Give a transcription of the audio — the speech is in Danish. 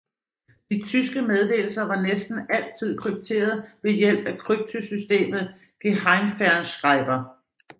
De tyske meddelelser var næsten altid krypteret ved hjælp af kryptosystemet Geheimfernschreiber